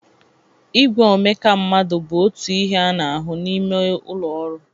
Igwe omeka mmadụ bụ otu ihe a na-ahụ n'ime ụlọ ọrụ.